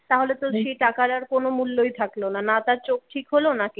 তাহলে তো সেই টাকার আর কোনো মূল্যই থাকলো না না তার চোখ ঠিক হলো না কিছু!